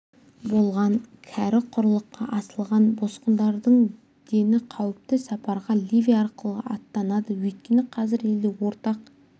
болған кәрі құрлыққа ағылған босқындардың дені қауіпті сапарға ливия арқылы аттанады өйткені қазір елде ортақ